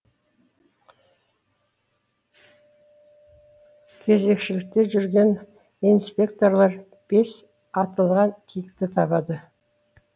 кезекшілікте жүрген инспекторлар бес атылған киікті табады